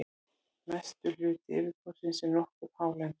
mestur hluti yfirborðsins er nokkuð hálendur